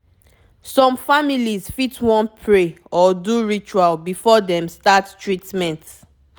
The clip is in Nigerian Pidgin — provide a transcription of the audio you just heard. some families fit wan pray or do ritual before dem start treatment